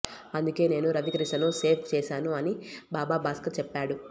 అందుకే నేను రవికృష్ణను సేఫ్ చేశాను అని బాబా భాస్కర్ చెప్పాడు